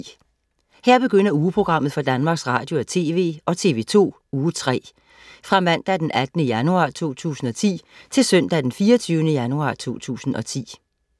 Her begynder ugeprogrammet for Danmarks Radio- og TV og TV2 Uge 3 Fra Mandag den 18. januar 2010 Til Søndag den 24. januar 2010